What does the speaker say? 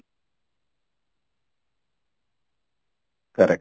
correct